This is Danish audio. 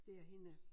Det er hende